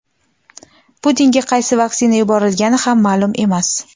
Putinga qaysi vaksina yuborilgani ham ma’lum emas.